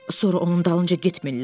Sonra onun dalınca getmirlər?